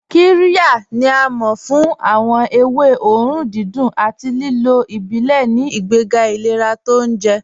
Qíryà ni à máọ̀ fún awọn èwé òórùn dídùn àti lílò ìbílẹ̀ ní ìgbègà ìlẹ̀rà tó ọ̀unjẹ.